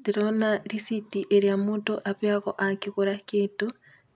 Ndĩrona riciti ĩrĩa mũndũ abeagwo angĩgũra kĩndũ,